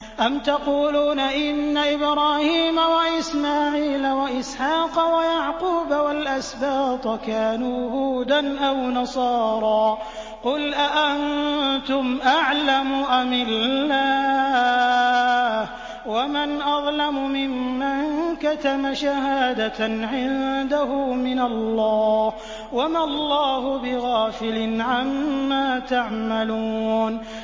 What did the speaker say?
أَمْ تَقُولُونَ إِنَّ إِبْرَاهِيمَ وَإِسْمَاعِيلَ وَإِسْحَاقَ وَيَعْقُوبَ وَالْأَسْبَاطَ كَانُوا هُودًا أَوْ نَصَارَىٰ ۗ قُلْ أَأَنتُمْ أَعْلَمُ أَمِ اللَّهُ ۗ وَمَنْ أَظْلَمُ مِمَّن كَتَمَ شَهَادَةً عِندَهُ مِنَ اللَّهِ ۗ وَمَا اللَّهُ بِغَافِلٍ عَمَّا تَعْمَلُونَ